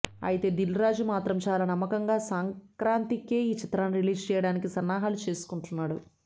ఐతే దిల్ రాజు మాత్రం చాలా నమ్మకంగా సంక్రాంతికే ఈ చిత్రాన్ని రిలీజ్ చేయడానికి సన్నాహాలు చేసుకుంటున్నాడు